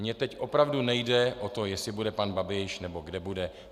Mně teď opravdu nejde o to, jestli bude pan Babiš, nebo kde bude.